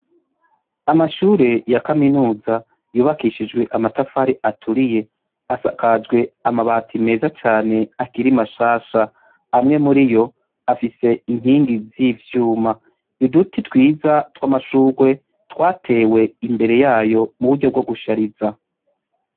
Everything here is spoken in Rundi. Amashure ya kaminuza yubakishijwe amatafari aturiye asakajwe amabati meza cane akiri mashasha, amwe muriyo afise inkingi z' ivyuma, uduti twiza tw' amashugwe twatewe imbere yayo mu buryo bwo gushariza.